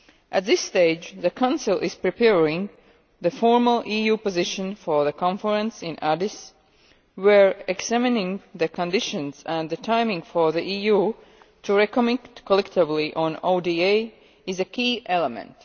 At this stage the Council is preparing the formal EU position for the conference in Addis Ababa, where examining the conditions and the timing for the EU to recommit collectively on ODA is a key element.